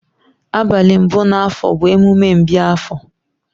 Abali mbu na afọọ bu emume mbi afọọ.